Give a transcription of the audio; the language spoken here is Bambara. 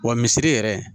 Wa misiri yɛrɛ